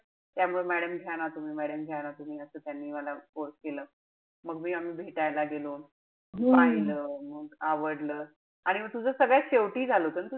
त्यामुळे madam घ्या ना तुम्ही madam घ्या ना तुम्ही असं त्यांनी मला force केलं. मग मी आम्ही भेटायला गेलो. पाहिलं मग आवडलं. आणि म तुझं सगळ्यात शेवटी झालं होत न?